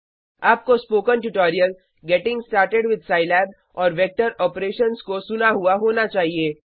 आपको spoken tutorial getting started with Scilab और vector operations को सुना हुआ होना चाहिए